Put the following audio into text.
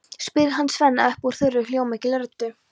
spyr hann Svenna upp úr þurru, hljómmikilli röddu.